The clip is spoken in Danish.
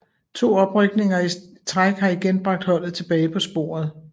To oprykninger i træk har igen bragt holdet tilbage på sporet